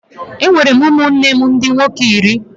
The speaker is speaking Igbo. Enwere m ụmụnne nne m ndị nwoke iri.